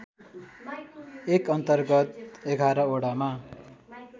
एकअन्तर्गत ११ वडामा